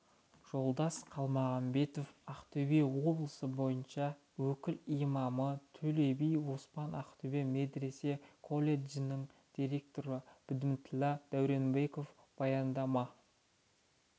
жолдас қалмағанбетов ақтөбе облысы бойынша өкіл имамы төлеби оспан ақтөбе медресе-колледжінің директоры бдімүтлі дуренбеков баяндама